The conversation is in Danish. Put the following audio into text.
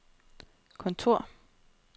kontor